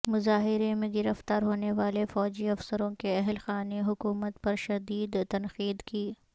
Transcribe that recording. مظاہرے میں گرفتار ہونے والے فوجی افسروں کے اہل خانے حکومت پر شدید تنقید کی